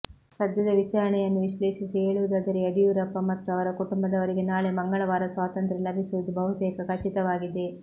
ಸದ್ಯದ ವಿಚಾರಣೆಂುುನ್ನು ವಿಶ್ಲೇಷಿಸಿ ಹೇಳುವುದಾದರೆ ಂುುಡಿಂುೂರಪ್ಪ ಮತ್ತು ಅವರ ಕುಟುಂಬದವರಿಗೆ ನಾಳೆ ಮಂಗಳವಾರ ಸ್ವಾತಂತ್ರ್ಯ ಲಭಿಸುವುದು ಬಹುತೇಕ ಖಚಿತವಾಗಿದೆ